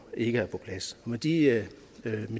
ikke er på plads med de